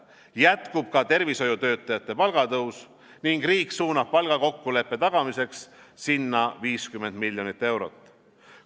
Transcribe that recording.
Jätkub ka tervishoiutöötajate palgatõus ning riik suunab palgakokkuleppe tagamiseks sinna 50 miljonit eurot.